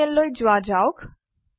টাৰ্মিনাললৈ যোৱা যাওক